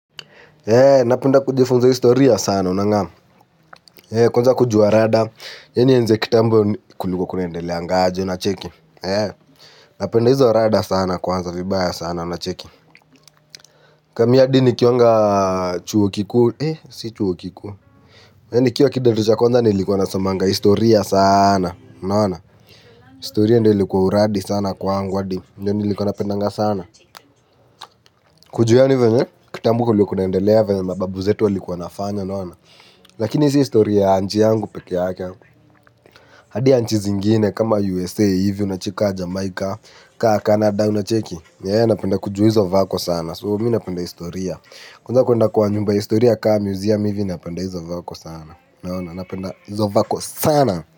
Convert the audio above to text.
Napenda kujifunza historia sana, unang'amu kwanza kujua rada Yeni yenze kitambu kuliko kunaendeleangaje unacheki, napenda hizo rada sana kwanza, vibaya sana unacheki. Kami hadi nikiwanga chuo kikuusi chuo kikuu. Yani nikiwa kidato cha kwanza nilikuwa nasomanga historia sana, unaona. Historia ndio ilikuwa uradi sana kwangu adi ndiyo nilikuwa napendanga sana. Kujua yani hivyo vye, kitambo kulikuwa kunaendelea venye mababu zetu walikuwa nafanya, unaona. Lakini si historia nchi yangu peke yake. Hadi ya nchi zingine kama USA hivyo unacheki kama Jamaica Kaa Canada unacheki napenda kujua hizo vako sana So mi napenda historia. Kwanza kwenda kwa nyumba ya historia kaa museum hivyo napenda hizo vako sana. Naona napenda hizo vako sana.